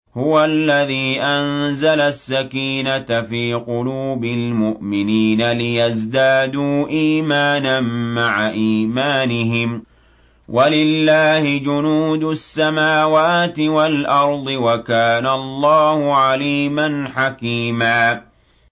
هُوَ الَّذِي أَنزَلَ السَّكِينَةَ فِي قُلُوبِ الْمُؤْمِنِينَ لِيَزْدَادُوا إِيمَانًا مَّعَ إِيمَانِهِمْ ۗ وَلِلَّهِ جُنُودُ السَّمَاوَاتِ وَالْأَرْضِ ۚ وَكَانَ اللَّهُ عَلِيمًا حَكِيمًا